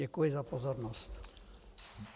Děkuji za pozornost.